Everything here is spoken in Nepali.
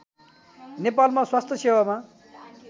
नेपालमा स्वास्थ्य सेवामा